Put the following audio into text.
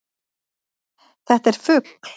Þetta er fugl.